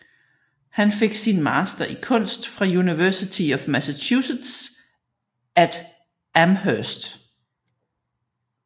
Han fik sin master i kunst fra University of Massachusetts at Amherst